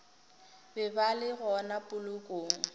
be ba le gona polokong